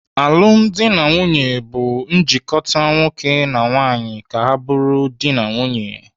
Alụmdi na nwaanyị bụ njikota nwoke na nwaanyị ka ha bụrụ dị na nwunye.